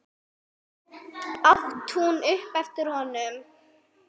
át hún upp eftir honum.